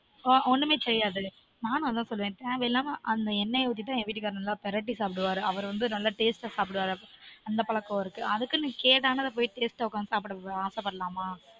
on ஒன்னுமே செய்யாது நானும் அதான் சொல்லுவன் அந்த எண்ணெய ஊத்தி தான் நல்லா பிரட்டி சாப்பிடுவாரு அவரு வந்து நல்ல taste அ சாப்பிடுவாரு அந்த பழக்கம் இருக்கு அதுக்குனு கெடானது போய் taste உக்காந்து சாப்பிட ஆசை படலாமா